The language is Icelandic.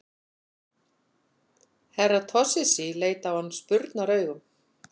Herra Toshizi leit á hann spurnaraugum.